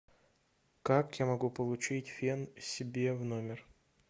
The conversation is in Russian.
как я могу получить фен себе в номер